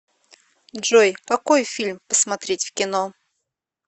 джой какой фильм посмотреть в кино